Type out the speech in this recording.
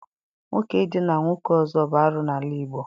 Nwoke idina nwoke ọzọ bụ arụ n'ala Igbo